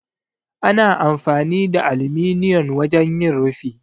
Ana amfani da aluminiyon wajen yin rufi.